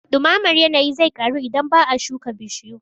Ɗumamar yanayi zai ƙaru idan ba a shuka bishiyu